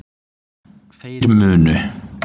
Þeir munu